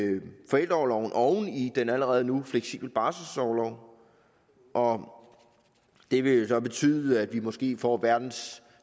forældreorloven oven i den allerede nu fleksible barselsorlov og det vil så betyde at vi måske får verdens